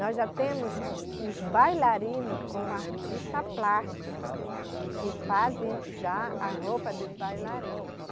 Nós já temos os bailarino como artista plástico, que fazem já a roupa dos bailarinos.